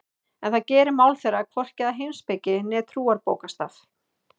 En það gerir mál þeirra hvorki að heimspeki né trúarbókstaf.